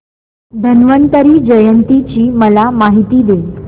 धन्वंतरी जयंती ची मला माहिती दे